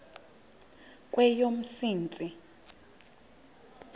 kweyomsintsi